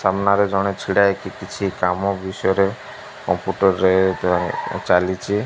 ସାମ୍ନାରେ ଜଣେ ଛିଡା ହେଇକି କିଛି କାମ ବିଷୟ ରେ କମ୍ପ୍ୟୁଟର ରେ ଚାଲିଛି।